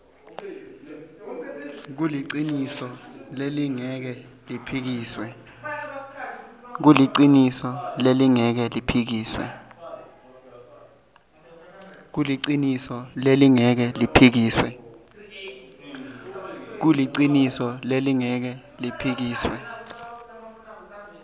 kuliciniso lelingeke liphikiswe